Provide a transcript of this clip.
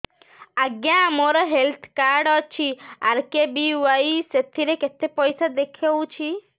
ଆଜ୍ଞା ମୋର health card ଅଛି ଆର୍.କେ.ବି.ୱାଇ ସେଥିରେ କେତେ ପଇସା ଦେଖଉଛି